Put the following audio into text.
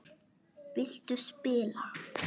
Viltu spila?